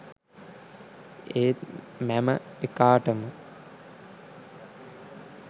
ඒත් මැම එකාටම